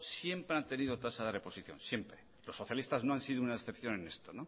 siempre han tenido tasa de reposición los socialistas nos han sido una excepción en esto